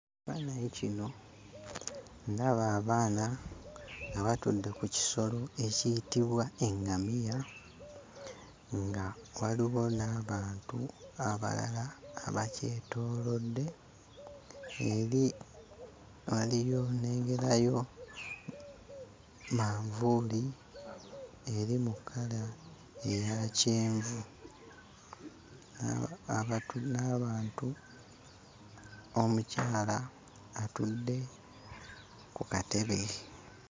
Ekifaananyi kino ndaba abaana nga batudde ku kisolo ekiyitibwa eŋŋamiya nga waliwo n'abantu abalala abakyetoolodde. Eri nnengerayo manvuuli eri mu kkala eya kyenvu n'abantu, omukyala atudde ku katebe.